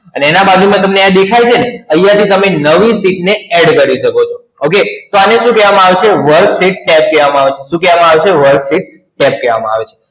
અને એના બાજુમાં તમને આ દેખાય છે ને? અહીયા થી તમે નવી Sheet ને Add કરી શકો છો. Okay? તો આને શું કહેવામા આવે છે? work sheet Set કહેવામા આવે છે શું કહેવામા આવે છે? work sheet Set કહેવામા આવે છે.